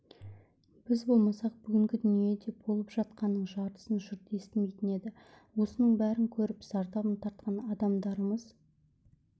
біз болмасақ бүгінде дүниеде болып жатқанның жартысын жұрт естімейтін еді осының бәрін көріп зардабын тартқан адамдармыз